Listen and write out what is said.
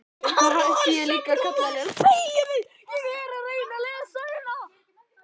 Þá hætti ég líka að kalla þig Lilla.